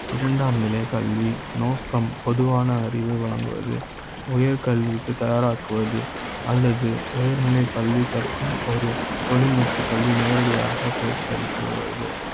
இரண்டாம் நிலைக் கல்வி நோக்க ம் பொதுவான அறிவுரை வழங்குவது உயர்கல்வி க்கு தயாராக்குவது அல்லது உயர்நிலை பள்ளி கற்க்கும் ஒரு தொழில்நுட்ப கல்வி நேரடியாக பயிற்சி அளிக்கிறது